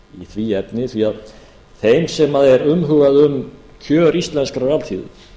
því efni því þeimsem er umhugað um kjör íslenskrar alþýðu